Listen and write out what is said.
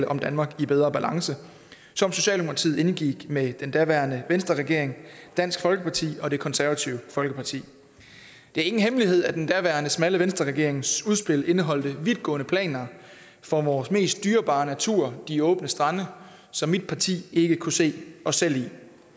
om danmark i bedre balance som socialdemokratiet indgik med den daværende venstreregering dansk folkeparti og det konservative folkeparti det er ingen hemmelighed at den daværende smalle venstreregerings udspil indeholdt vidtgående planer for vores mest dyrebare natur de åbne strande som mit parti ikke kunne se os selv i